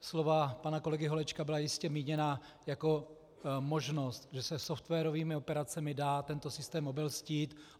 Slova pana kolegy Holečka byla jistě míněna jako možnost, že se softwarovými operacemi dá tento systém obelstít.